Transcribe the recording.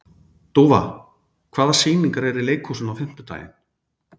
Dúfa, hvaða sýningar eru í leikhúsinu á fimmtudaginn?